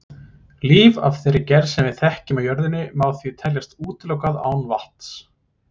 Líf af þeirri gerð sem við þekkjum á jörðinni má því teljast útilokað án vatns.